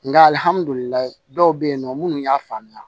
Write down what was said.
Nka dɔw bɛ yen nɔ minnu y'a faamuya